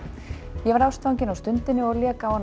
ég varð ástfanginn á stundinni og lék á hana